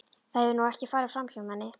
Það hefur nú ekki farið framhjá manni.